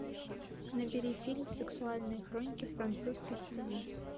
набери фильм сексуальные хроники французской семьи